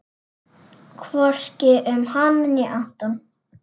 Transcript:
Hvorki um hana né Anton.